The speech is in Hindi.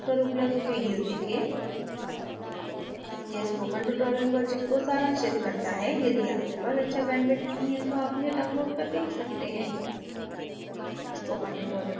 निम्न url पर उपलब्ध video देखें: